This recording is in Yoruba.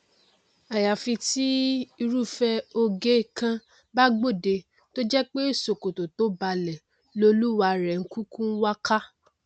àyàfi tí irúfẹ oge kan bá gbòde tó jẹ pé ṣòkòtò to balẹ lolúwarẹ n kúkú wá ká